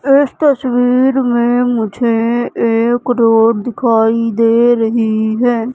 इस तस्वीर में मुझे एक रोड़ दिखाई दे रही है।